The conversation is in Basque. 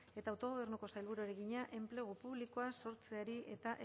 eta autogobernuko sailburuari egina enplegu publikoa sortzeari eta